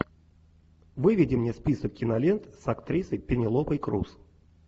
выведи мне список кинолент с актрисой пенелопой крус